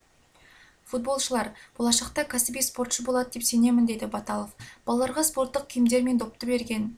футболшылар болашақта кәсіби спортшы болады деп сенемін деді баталов балаларға спорттық киімдер мен допты берген